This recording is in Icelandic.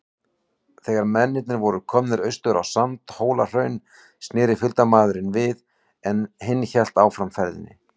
Þegar mennirnir voru komnir austur á Sandhólahraun, sneri fylgdarmaðurinn við, en hinn hélt áfram ferðinni.